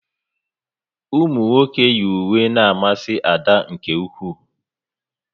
Ụmụnwoke yi uwe n'amasi Ada nke ụkwụ